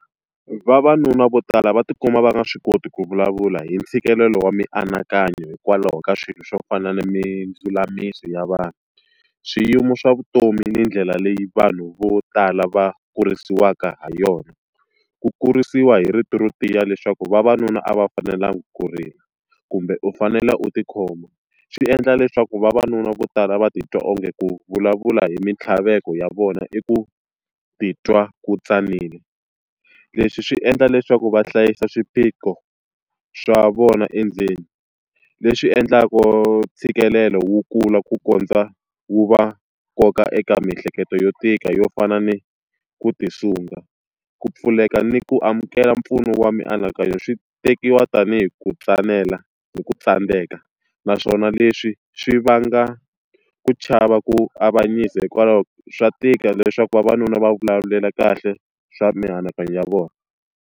Vavanuna vo tala va tikuma va nga swi koti ku vulavula hi ntshikelelo wa mianakanyo hikwalaho ka swilo swo fana na mindzulamiso ya vanhu, swiyimo swa vutomi ni ndlela leyi vanhu vo tala va kurisiwaka ha yona. Ku kurisiwa hi rito ro tiya leswaku vavanuna a va fanelanga ku rila, kumbe u fanele u tikhoma, swi endla leswaku vavanuna vo tala va titwa onge ku vulavula hi mintlhaveko ya vona i ku titwa ku tsanile. Leswi swi endla leswaku va hlayisa swiphiqo swa vona endzeni, leswi endlaku ntshikelelo wu kula ku kondza wu va koka eka miehleketo yo tika yo fana ni ku ti sunga. ku pfuleka ni ku amukela mpfuno wa mianakanyo swi tekiwa tanihi ku tsanela ni ku tsandzeka, naswona leswi swi vanga ku chava ku avanyisa hikwalaho swa tika leswaku vavanuna va vulavulela kahle swa mianakanyo ya vona.